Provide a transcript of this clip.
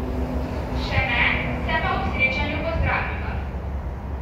Še ne, se pa ob srečanju pozdraviva.